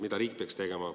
Mida riik peaks tegema?